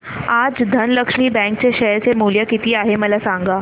आज धनलक्ष्मी बँक चे शेअर चे मूल्य किती आहे मला सांगा